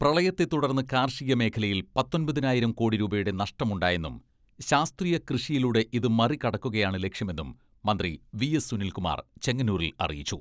പ്രളയത്ത തുടർന്ന് കാർഷിക മേഖലയിൽ പത്തൊൻപതിനായിരം കോടി രൂപയുടെ നഷ്ടമുണ്ടായെന്നും ശാസ്ത്രീയ കൃഷിയിലൂടെ ഇത് മറികടക്കുകയാണ് ലക്ഷ്യമെന്നും മന്ത്രി വി.എസ്.സുനിൽകുമാർ ചെങ്ങന്നൂരിൽ അറിയിച്ചു.